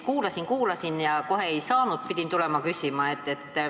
Kuulasin, kuulasin ja kohe ei saanud aru, pidin küsima.